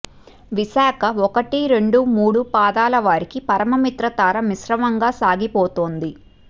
విశాఖ ఒకటి రెండు మూడు పాదాల వారికి పరమమిత్రతార మిశ్రమంగా సాగిపోతుంది